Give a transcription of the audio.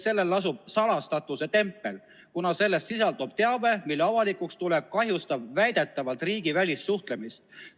Sellel lasub salastatuse tempel, kuna selles sisaldub teave, mille avalikuks tulek kahjustab väidetavalt riigi välissuhtlemist.